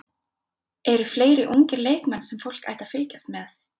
Eru fleiri ungir leikmenn sem fólk ætti að fylgjast með?